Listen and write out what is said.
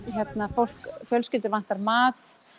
fólk og fjölskyldur vantar mat